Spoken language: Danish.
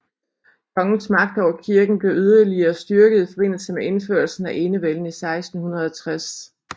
Kongens magt over kirken blev yderligere styrket i forbindelse med indførelsen af enevælden i 1660